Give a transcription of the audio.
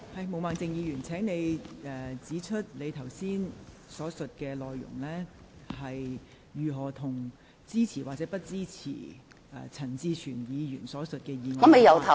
毛孟靜議員，請你指出你剛才所述的內容，如何與支持或不支持陳志全議員提出的議案有關。